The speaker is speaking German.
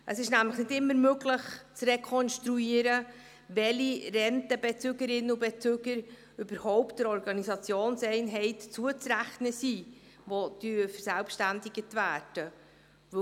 Es ist nämlich nicht immer möglich zu rekonstruieren, welche Rentenbezügerinnen und -bezüger überhaut der Organisationseinheit, die verselbständigt wird, zuzurechnen sind.